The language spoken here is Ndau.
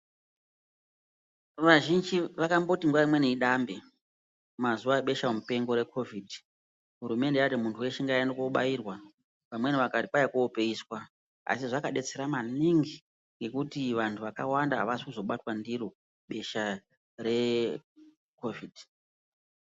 Vazhinji vakamboti nguwa imweni idambe mazuwa ebesha mupengo reCOVID, hurumende yati muntju weshe ngaaende koobairwa vamweni vakati koopeiswa asi zvakadetsera maningi ngekuti vanthu vakawanda avazi kuzobatwa ndiro besha reCOVID.